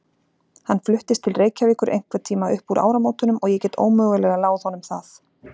Hann fluttist til Reykjavíkur einhverntíma upp úr áramótunum og ég get ómögulega láð honum það.